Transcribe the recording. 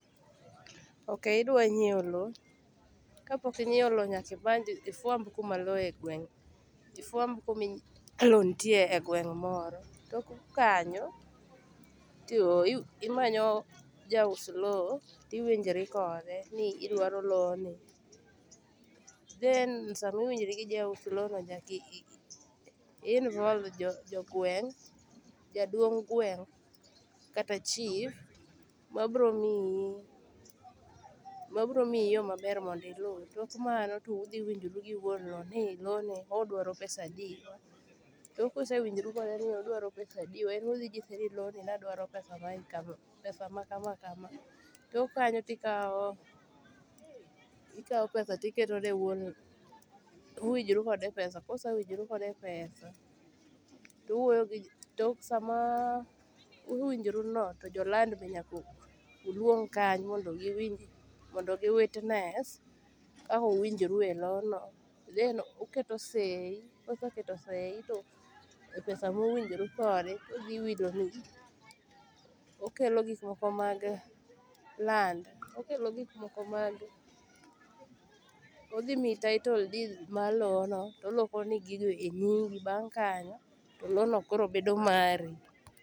Okay idwa nyiewo loo, kapok inyiewo loo nyaka ibanj iifuamb kuma loo egweng' ifuamb kuma loo nitie egweng' moro. Tok kanyo ti imayo jaus loo tiwinjori kode ni idwaro looni. Then samiwinjorigi jauso looni nyaka involve jo jogweng', jaduong' gweng' kata chief mabiro miyi mabiro miyi yoo maber mondo iluu. Tok mano to udhi winjoru gi wuon loo ni looni odwaro pesa adi. To kusewinjoru kode ni odwa pesa adiwa en odhi nyisini looni ne adwaro pesa maen kama pesa makama kama .Tok kanyo tikawo ikawo pesa tiketone wuon uwinjoru kode epesa kusewinjoru kode epesa, to uwoyo gi jo tok samaa uwinjoruno to joland be nyaka uluong kanyo mondo giwinji mondo gi witness kaka uwinjoru elono then uketo sei kuseketo sei to epesa muwinjoru kode udhi yudoru. Okelo gik moko mag land okelo gik moko mag odhi miyi title deed mar loono tolokoni gigo enyingi bang' kanyo to loono koro bedo mari.